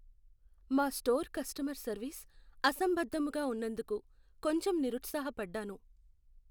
మా store customer service అసంబద్ధముగా ఉన్నందుకు కొంచెం నిరుత్సాహపడ్డాను.